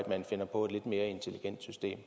man finder på et lidt mere intelligent system